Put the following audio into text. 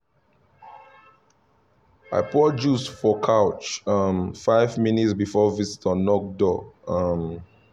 i pour juice for couch um five minutes before visitors knock door um